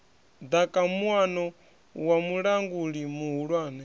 ḓaka muano wa mulanguli muhulwane